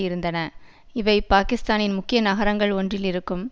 இருந்தன இவை பாக்கிஸ்தானின் முக்கிய நகரங்கள் ஒன்றில் இருக்கும்